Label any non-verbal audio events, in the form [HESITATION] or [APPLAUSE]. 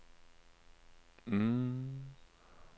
[HESITATION]